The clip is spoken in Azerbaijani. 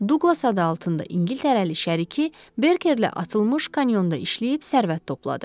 Duqlas adı altında İngiltərəli şəriki Berkerlə atılmış kanyonda işləyib sərvət topladı.